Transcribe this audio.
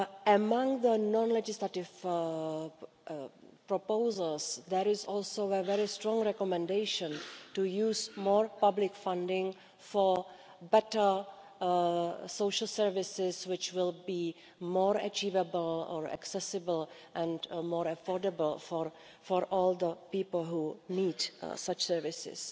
Among the non legislative proposals, there is also a very strong recommendation to use more public funding for better social services which will be more achievable or accessible and more affordable for all the people who need such services,